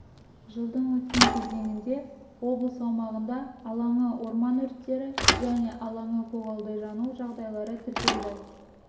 жылдың өткен кезеңінде облыс аумағында алаңы орман өрттері және алаңы көгалды жану жағдайлары тіркелді